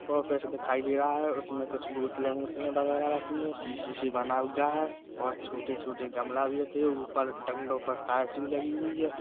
Office दिखाई दे रहा है उसमे कुछ बोतले वोतले वगेरा रखी हुई है शी- शिशि बना हुआ है और छोटे छोटे गमला भी रखे है ऊपर डंडो पर टार्च भी लगी हुई है।